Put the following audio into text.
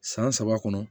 San saba kɔnɔ